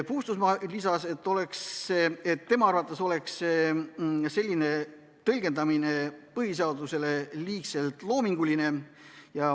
Puustusmaa lisas, et tema arvates oleks põhiseaduse selline tõlgendamine liigselt loominguline.